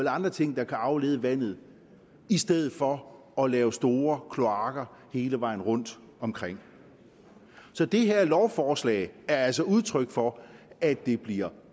andre ting der kan aflede vandet i stedet for at lave store kloakker hele vejen rundtomkring så det her lovforslag er altså udtryk for at det bliver